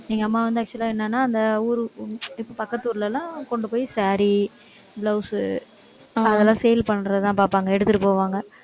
எங்க அம்மா வந்து actual ஆ என்னன்னா, அந்த ஊரு இப்ப பக்கத்து ஊர்ல எல்லாம் கொண்டு போய் saree, blouse அதெல்லாம் sale பண்றததான் பார்ப்பாங்க எடுத்துட்டு போவாங்க